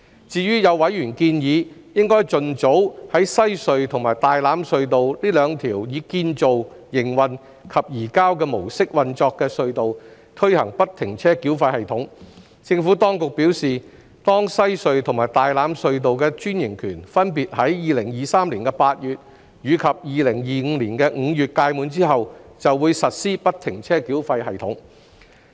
至於有委員建議，應盡早在西區海底隧道和大欖隧道這兩條以"建造─營運─移交"模式運作的隧道推行不停車繳費系統，政府當局表示，當西隧和大欖隧道的專營權分別於2023年8月及2025年5月屆滿後，就會實施不停車繳費系統。